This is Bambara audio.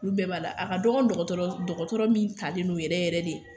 Olu bɛɛ b'a la a ka dɔgɔ dɔgɔtɔrɔ dɔgɔtɔrɔ min talen no yɛrɛ yɛrɛ de